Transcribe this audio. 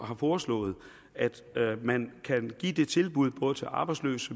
har foreslået at man kan give det tilbud både til arbejdsløse